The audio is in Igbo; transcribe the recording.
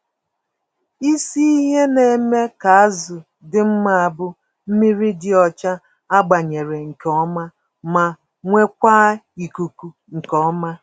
Isi ihe na-eme ka azụ dị mma bụ mmírí dị ọcha agbanyere nke ọma, ma nwekwaa ikuku nke ọma.